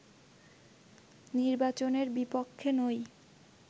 নির্বাচনের বিপক্ষে নই